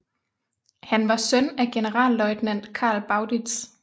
Han var søn af generalløjtnant Carl Bauditz